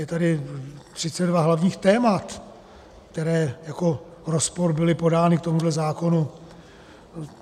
Je tady 32 hlavních témat, která jako rozpor byla podána k tomuto zákonu.